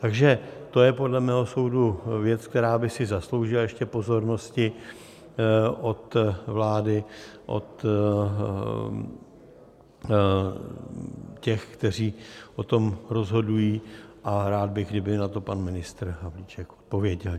Takže to je podle mého soudu věc, která by si zasloužila ještě pozornosti od vlády, od těch, kteří o tom rozhodují, a rád bych, kdyby na to pan ministr Havlíček odpověděl.